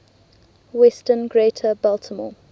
western greater baltimore